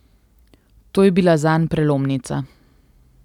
To je bila zanj prelomnica.